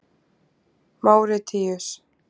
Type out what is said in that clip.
Máritíus